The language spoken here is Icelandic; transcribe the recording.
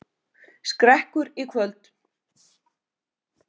Skrekkur í kvöld